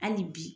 Hali bi